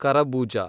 ಕರಬೂಜ